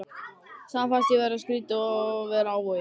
Samt fannst mér skrýtið að vera á Vogi.